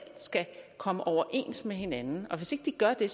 skal komme overens med hinanden og hvis ikke de gør det